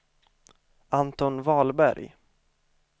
Anton Wahlberg